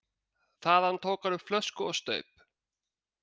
Þaðan tók hann upp flösku og staup.